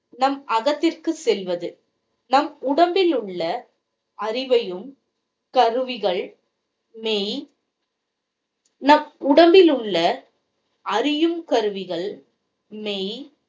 நம் அகத்திற்கு செல்வது நம் உடம்பிலுள்ள அறிவையும் கருவிகள் மெய் நம் உடம்பிலுள்ள அறியும் கருவிகள் மெய்